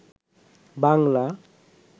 Bangla